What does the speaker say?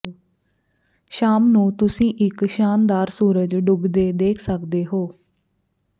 ਸ਼ਾਮ ਨੂੰ ਤੁਸੀਂ ਇਕ ਸ਼ਾਨਦਾਰ ਸੂਰਜ ਡੁੱਬਦੇ ਦੇਖ ਸਕਦੇ ਹੋ